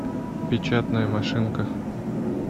печатная машинка